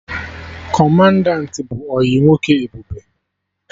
Kọmandanti bụ ọyị nwoke Ebube